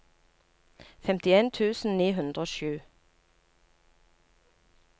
femtien tusen ni hundre og sju